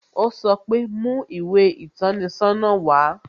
O sọ pe "Mú ìwé ìtọ́ni sọ́nà wá"